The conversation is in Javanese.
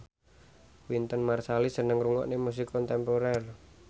Wynton Marsalis seneng ngrungokne musik kontemporer